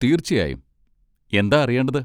തീർച്ചയായും, എന്താ അറിയേണ്ടത്?